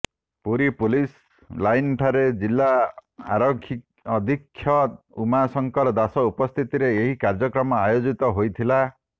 Puri police ଲାଇନଠାରେ ଜିଲ୍ଲା ଆରକ୍ଷୀଅଧିକ୍ଷକ ଉମାଶଙ୍କର ଦାସଙ୍କ ଉପସ୍ଥିତିରେ ଏହି କାର୍ଯ୍ୟକ୍ରମ ଆୟୋଜିତ ହୋଇଥିଲା